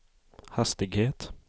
hastighet